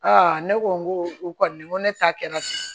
ne ko n ko u kɔni n ko ne ta kɛra ten